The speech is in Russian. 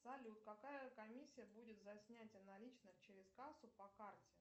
салют какая комиссия будет за снятие наличных через кассу по карте